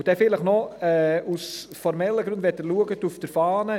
Noch eine Bemerkung aus formellen Gründen: